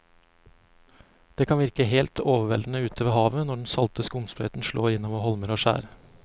Det kan virke helt overveldende ute ved havet når den salte skumsprøyten slår innover holmer og skjær.